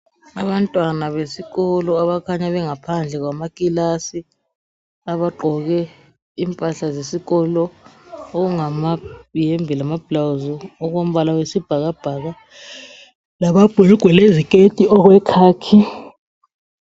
Abantwana besikolo abakhanya bengaphandle kwamakilasi abagqoke impahla zesikolo okungamayembe lamabhulwazi okombala wesibhakabhaka lamabhulugwe lezeketi okwekhakhi.